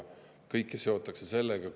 Kõike seotakse sellega.